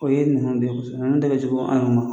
O ye ninnu de ninnu de kɛ jugu an yɛrɛw ma.